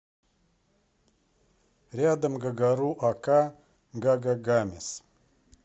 рядом гагару ака гагагамес